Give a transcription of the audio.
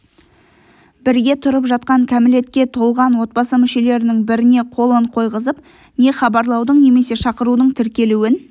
бірге тұрып жатқан кәмілетке толған отбасы мүшелерінің біріне қолын қойғызып не хабарлаудың немесе шақырудың тіркелуін